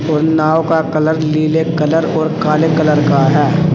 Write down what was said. और नाव का कलर नीले कलर और काले कलर का है।